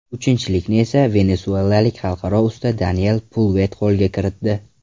Uchinchilikni esa, venesuelalik Xalqaro usta Daniel Pulvett qo‘lga kiritdi.